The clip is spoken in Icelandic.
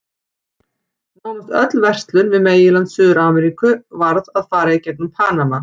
Nánast öll verslun við meginland Suður-Ameríku varð að fara í gegnum Panama.